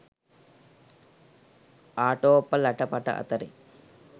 ආටෝප ලට පට අතරේ